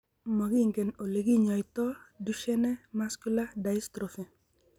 Makingen ole kinyaita Duchenne muscular dystrophy.